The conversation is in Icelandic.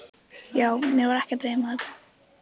Já, mig var ekki að dreyma þetta.